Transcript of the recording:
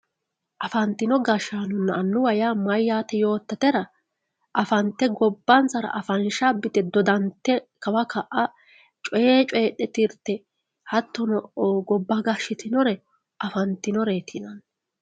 afantino gashshaanonna annuwa yaa mayyaate yoottatera afante gobbansara afansha abbite dodante kawa ka'a coye coyiidhe tirte hattono gobba gashshitinore afantinoreeti yinanni